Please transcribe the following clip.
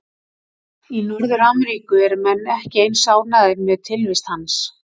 Í Norður-Ameríku eru menn ekki eins ánægðir með tilvist hans.